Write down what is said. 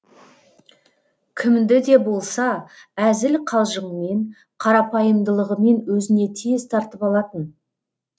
кімді де болса әзіл қалжыңмен қарапайымдылығымен өзіне тез тартып алатын